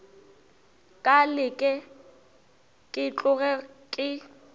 ka leke ke tloge ke